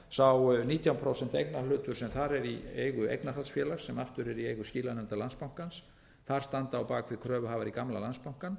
í landsbankanum sá nítján prósent eignarhlutur sem þar er í eigu eignarhaldsfélags sem aftur er í eigu skilanefndar landsbankans þar starfa á bak við kröfuhafar í gamla landsbankann